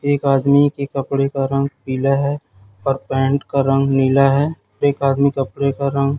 एक आदमी के कपड़े का रंग पीला है और पैंट का रंग नीला है एक आदमी कपड़े का रंग--